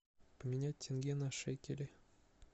поменять тенге на шекели